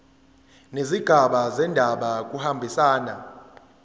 nezigaba zendaba kuyahambisana